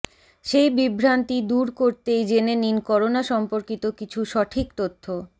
সেই বিভ্রান্তি দূর করতেই জেনে নিন করোনা সম্পর্কিত কিছু সঠিক তথ্য